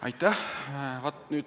Aitäh!